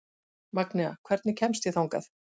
Magnea, hvernig kemst ég þangað?